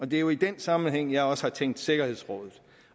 det er jo i den sammenhæng at jeg også har tænkt sikkerhedsrådet